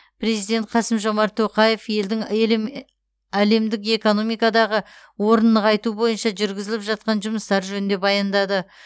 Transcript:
президент қасым жомарт тоқаев елдің әлемдік экономикадағы орнын нығайту бойынша жүргізіліп жатқан жұмыстар жөнінде баяндады